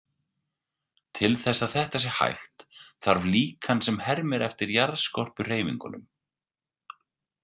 Til þess að þetta sé hægt, þarf líkan sem hermir eftir jarðskorpuhreyfingunum.